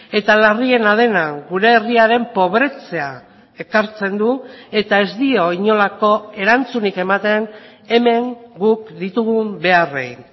eta larriena dena gure herriaren pobretzea ekartzen du eta ez dio inolako erantzunik ematen hemen guk ditugun beharrei